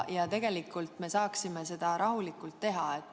Ja tegelikult me saaksime seda rahulikult teha.